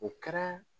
O kɛra